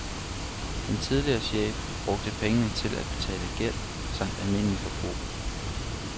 Den tidligere chef brugte pengene til at betale gæld samt almindeligt forbrug.